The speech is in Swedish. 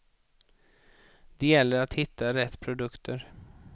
Det gäller att hitta rätt produkter.